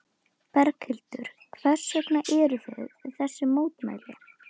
Berghildur: Hvers vegna eruð þið við þessi mótmæli?